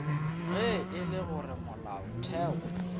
ge e le gore molaotheo